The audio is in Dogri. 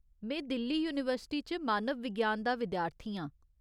में दिल्ली यूनीवर्सिटी च मानव विज्ञान दा विद्यार्थी आं।